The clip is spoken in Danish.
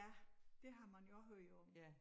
Ja det har man jo også hørt om